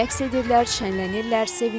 Rəqs edirlər, şənlənirlər, sevinirlər.